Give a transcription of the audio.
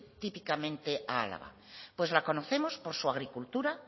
típicamente a álava pues la conocemos por su agricultura